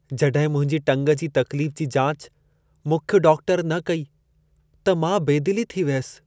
जॾहिं मुंहिंजी टंग जी तक़्लीफ जी जाच मुख्य डॉक्टर न कई, त मां बेदिली थी वियसि।